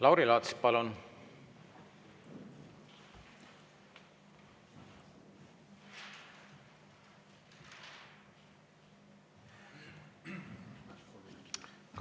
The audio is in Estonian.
Lauri Laats, palun!